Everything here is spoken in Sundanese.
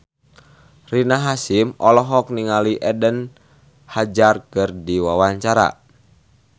Rina Hasyim olohok ningali Eden Hazard keur diwawancara